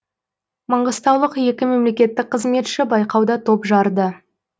маңғыстаулық екі мемлекеттік қызметші байқауда топ жарды